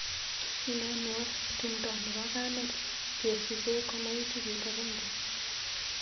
Sinanwa tumdo nebo kamet kesuche komait wikit agenge.